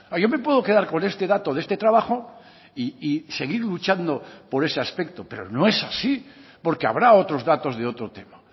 yo me puedo quedar con este dato de este trabajo y seguir luchando por ese aspecto pero no es así porque habrá otros datos de otro tema